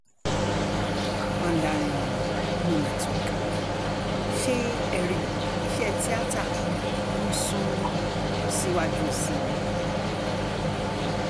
mandarin um no network ṣé ẹ rí i iṣẹ́ tíata ń sún um síwájú sí i ni